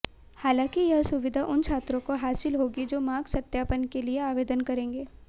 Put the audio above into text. हालांकि यह सुविधा उन छात्रों को हासिल होगी जो मार्क्स सत्यापन के लिए आवेदन करेंगे